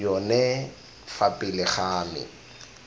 yone fa pele ga me